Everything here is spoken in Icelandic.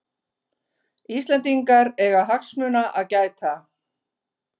Íslendingar eiga hagsmuna að gæta